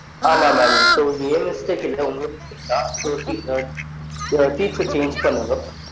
ஆமா mam so இது என் mistake இல்ல உங்க mistake தான் so seat so seat change பண்ணுங்க